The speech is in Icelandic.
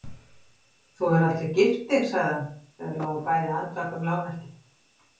Þú hefur aldrei gift þig, sagði hann þegar þau lágu bæði andvaka um lágnættið.